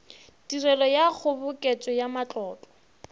tirelo ya kgoboketšo ya matlotlo